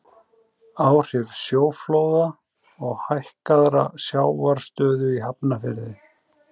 áhrif sjóflóða og hækkaðrar sjávarstöðu í hafnarfirði